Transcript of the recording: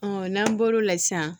n'an bɔr'o la sisan